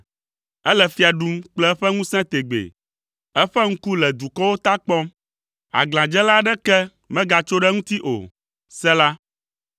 Ele fia ɖum kple eƒe ŋusẽ tegbee, eƒe ŋku le dukɔwo ta kpɔm, aglãdzela aɖeke megatso ɖe eŋuti o. Sela